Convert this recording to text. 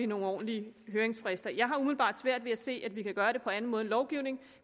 nogle ordentlige høringsfrister jeg har umiddelbart svært ved at se at vi kan gøre det på anden måde lovgivning